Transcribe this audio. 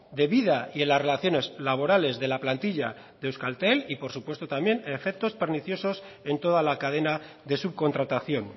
de vida y en las relaciones laborales de la plantilla de euskaltel y por supuesto también efectos perniciosos en toda la cadena de subcontratación